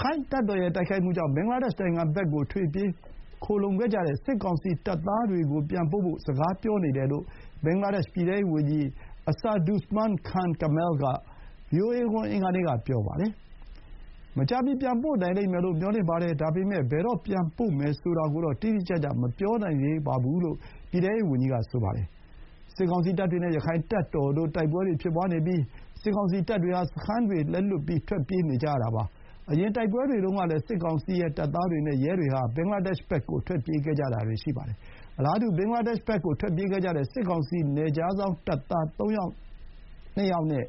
ခိုင့်တပ်တော်ရဲ့တိုက်ခိုက်မှုကြောင့် ဘင်္ဂလားဒေ့ရှ်နိုင်ငံဘက် ထွက်ပြေးခိုလှုံခဲ့ကြတဲ့ စစ်ကောင်စီတပ်သားတွေကို ပြန်ပို့ဖို့ စကားပြောနေတယ်လို့ ဘင်္ဂလားဒေ့ရှ်ပြည်ထဲရေးဝန်ကြီး အဆာဒုဇ်မန်း ခန် ကမဲလ် (Asaduzzaman Khan Kamal) က ဗွီအိုအေကို အင်္ဂါနေ့ က ပြောပါတယ်။ “မကြာမီ ပြန်ပို့နိုင်လိမ့်မယ်လို့ မျှော်လင့်ပါတယ်။ ဒါပေမဲ့ ဘယ်တော့ ပြန်ပို့မယ်ဆိုတာကိုတော့ တိတိကျကျ မပြောနိုင်သေးပါဘူး” လို့ ပြည်ထဲရေးဝန်ကြီးက ဆိုပါတယ်။ စစ်ကောင်စီတပ်တွေနဲ့ ရခိုင့်တပ်တော်တို့ တိုက်ပွဲတွေဖြစ်ပွါးနေပြီး စစ်ကောင်စီတပ်တွေ ဟာ စခန်းတွေလက်လွှတ်ပြီး ထွက်ပြေးနေကြရတာပါ။ အရင် တိုက်ပွဲတွေတုန်းကလည်း စစ်ကောင်စီရဲ့တပ်သားတွေနဲ့ ရဲတွေဟာ ဘင်္ဂလားဒေ့ရှ်ဘက်ကို ထွက်ပြေးခဲ့ကြတာတွေ ရှိပါတယ်။ အလားတူ ဘင်္ဂလားဒေ့ရှ်ဘက်ကို ထွက်ပြေးခဲ့ကြတဲ့ စစ်ကောင်စီ နယ်ခြားစောင့် တပ်သား ၃၀၂ ယောက်နဲ့